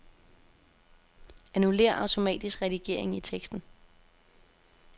Annullér automatisk redigering i teksten.